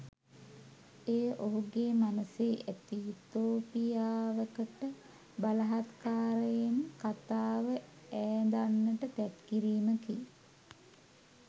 එය ඔහුගේ මනසේ ඇති යුතෝපියාවකට බලහත්කාරයෙන් කතාව ඈඳන්නට තැත් කිරීමකි.